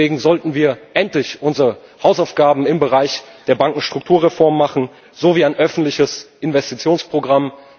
Deswegen sollten wir endlich unsere Hausaufgaben im Bereich der Bankenstrukturreform machen, so wie ein öffentliches Investitionsprogramm.